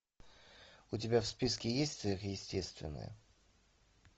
у тебя в списке есть сверхъестественное